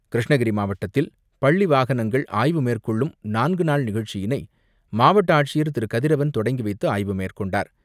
கிருஷ்ணகிரி மாவட்டத்தில் பள்ளி வாகனங்கள் ஆய்வு மேற்கொள்ளும் நான்கு நாள் நிகழ்ச்சியினை மாவட்ட ஆட்சியர் திரு கதிரவன் தொடங்கிவைத்து ஆய்வு மேற்கொண்டார்.